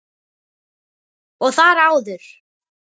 Og þar áður?